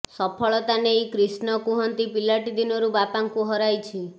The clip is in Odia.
ସଫଳତା ନେଇ କ୍ରିଷ୍ଣ କୁହନ୍ତି ପିଲାଟି ଦିନରୁ ବାପାଙ୍କୁ ହରାଇଛି